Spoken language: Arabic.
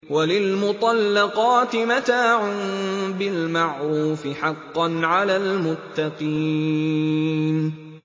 وَلِلْمُطَلَّقَاتِ مَتَاعٌ بِالْمَعْرُوفِ ۖ حَقًّا عَلَى الْمُتَّقِينَ